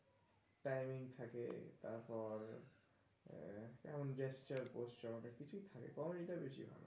timing থাকে তারপর gesture posture অনেক কিছুই থাকে comedy টা বেশি হয়।